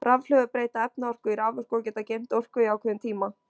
Rafhlöður breyta efnaorku í raforku og geta geymt orku í ákveðin tíma.